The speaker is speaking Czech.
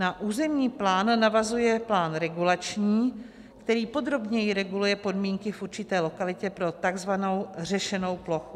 Na územní plán navazuje plán regulační, který podrobněji reguluje podmínky v určité lokalitě pro tzv. řešenou plochu.